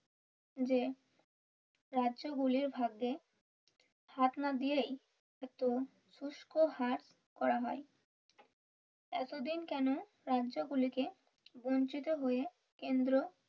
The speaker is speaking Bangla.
যে রাজ্য গুলির ভাগ্যে হাত না দিয়েই শুষ্ক হ্রাস করা হয় এতদিন কেনো রাজ্য গুলি কে বঞ্চিত হয়ে কেন্দ্র